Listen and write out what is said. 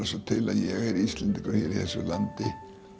svo til að ég er Íslendingur hér í þessu landi